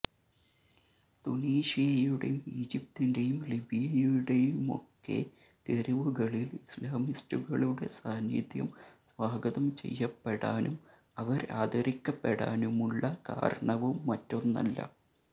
തുനീഷ്യയുടെയും ഈജിപ്തിന്റെയും ലിബിയയുടെയുമൊക്കെ തെരുവുകളില് ഇസ്ലാമിസ്റ്റുകളുടെ സാന്നിധ്യം സ്വാഗതം ചെയ്യപ്പെടാനും അവര് ആദരിക്കപ്പെടാനുമുള്ള കാരണവും മറ്റൊന്നല്ല